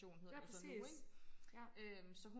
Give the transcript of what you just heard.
ja præcis ja